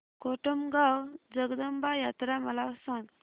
कोटमगाव जगदंबा यात्रा मला सांग